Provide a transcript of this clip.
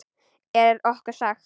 Er okkur sagt.